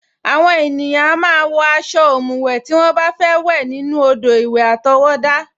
Àwọn ènìyàn a máa ń wọ aṣọ ọ̀mùwẹ̀ tí wọ́n bá fẹ́ wẹ̀ nínú odò-ìwẹ̀ àtọwọ́dá